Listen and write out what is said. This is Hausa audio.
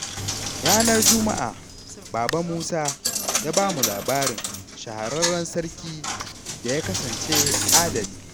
Ranar Juma'a Baba Musa ya ba mu labarin shahararren sarkin da ya kasance adali.